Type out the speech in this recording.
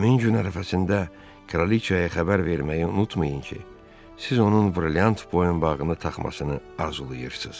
Həmin gün ərəfəsində kraliçaya xəbər verməyi unutmayın ki, siz onun brilliant boyunbağını taxmasını arzulayırsız.